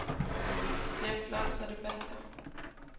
Det er flot, så det basker.